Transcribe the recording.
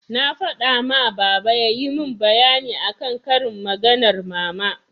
Na faɗa ma baba yayi min bayani akan karin maganar mama.